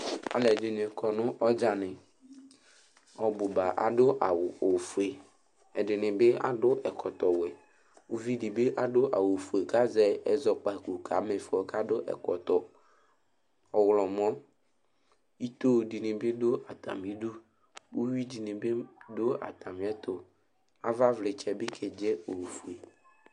Alʋɛdɩnɩ kɔ nʋ ɔdzanɩ Ɔbʋ ba adʋ awʋ ofue Ɛdɩnɩ bɩ adʋ ɛkɔtɔwɛ Uvi dɩ bɩ adʋ awʋfue kʋ azɛ ɛzɔkpako kama ɩfɔ kʋ adʋ ɛkɔtɔ ɔɣlɔmɔ Ito dɩnɩ bɩ dʋ atamɩdu Uyui dɩnɩ dʋ atamɩɛtʋ Avavlɩtsɛ bɩ kedze ofue